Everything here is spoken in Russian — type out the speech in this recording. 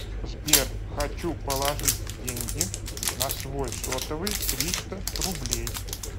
сбер хочу положить деньги на свой сотовый триста рублей